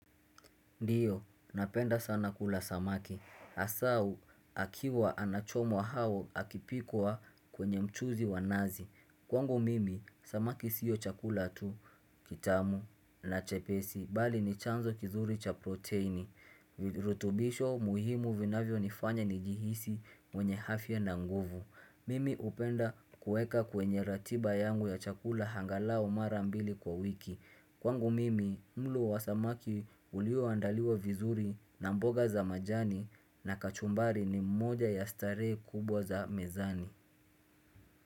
Ndiyo, napenda sana kula samaki. Asau, akiwa anachomwa hau akipikwa kwenye mchuzi wa nazi. Kwangu mimi, samaki siyo chakula tu, kitamu, na chepesi, bali ni chanzo kizuri cha proteini. Rutubisho muhimu vinavyonifanya nijihisi mwenye hafya na nguvu. Mimi upenda kuweka kwenye ratiba yangu ya chakula hangalao mara mbili kwa wiki. Kwangu mimi, mlo wa samaki ulio andaliwe vizuri na mboga za majani na kachumbari ni mmoja ya starehe kubwa za mezani.